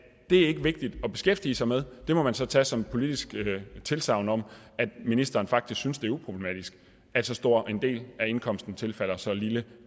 er vigtigt at beskæftige sig med det må man så tage som et politisk tilsagn om at ministeren faktisk synes det er uproblematisk at så stor en del af indkomsten tilfalder så lille